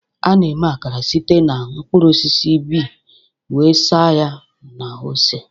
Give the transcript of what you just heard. A na-eme Akara site na mkpụrụ osisi bee wee saa ya na ose.